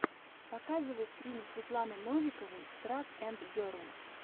показывай стримы светланы новиковой трак энд герл